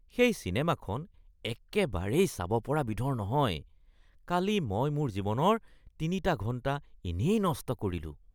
সেই চিনেমাখন একেবাৰেই চাব পৰা বিধৰ নহয়। কালি মই মোৰ জীৱনৰ ৩টা ঘণ্টা এনেই নষ্ট কৰিলোঁ